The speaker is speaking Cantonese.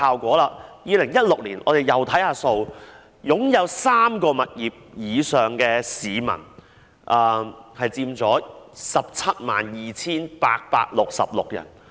在2016年，擁有3個物業以上的市民有 172,866 人。